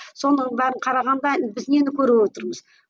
соның бәрін қарағанда біз нені көріп отырмыз